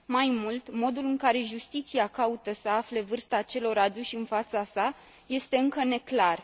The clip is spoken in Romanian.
Mai mult, modul în care justiția caută să afle vârsta acelor aduși în fața sa este încă neclar.